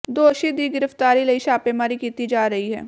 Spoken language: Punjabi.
ਦੋਸ਼ੀ ਦੀ ਗਿ੍ਰਫਤਾਰੀ ਲਈ ਛਾਪੇਮਾਰੀ ਕੀਤੀ ਜਾ ਰਹੀ ਹੈ